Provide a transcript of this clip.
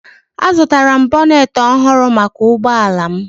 Azụtara m bonet ọhụrụ maka ụgbọ ala m